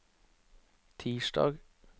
tirsdag